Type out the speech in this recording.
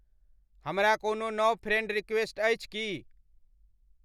हमरा कोनो नव फ्रेंड रिक्वेस्ट अछि की